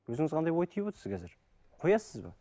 өзіңіз қандай ой түйіп отырсыз қазір қоясыз ба